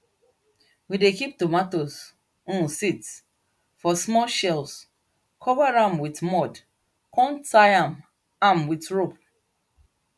we dey kip tomato um seeds for small shells cover am wit mud come tie am am wit rope